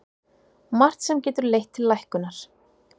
Margt sem getur leitt til lækkunar